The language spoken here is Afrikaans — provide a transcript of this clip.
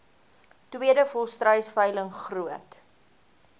tweede volstruisveiling groot